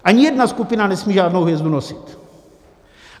Ani jedna skupina nesmí žádnou hvězdu nosit.